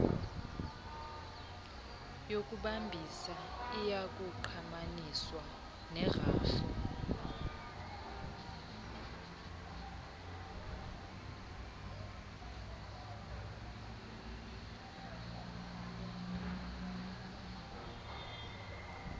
yokubambisa iyakungqamaniswa nerhafu